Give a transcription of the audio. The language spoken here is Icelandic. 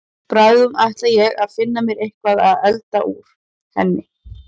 Bráðum ætla ég að finna mér eitthvað að elda úr henni.